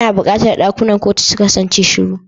Ana buƙatar ɗakunan kotu su kasance shiru.